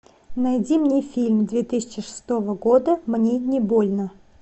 найди мне фильм две тысячи шестого года мне не больно